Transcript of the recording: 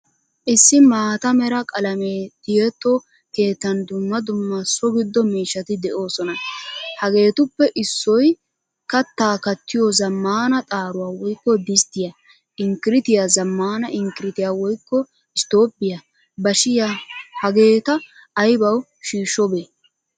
Issi maataa mera qalaame tiyetto keettan dumma dumma so gido miishshati deosona. Hagettuppe issoy katta kattiyo zamaana xaruwa woykko disttiya, inkirityaa, zamaana inkiritiyaa woykko isttobbiyaa, bashiya. Hageeta aybawu shishobee?